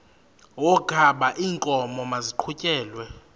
wokaba iinkomo maziqhutyelwe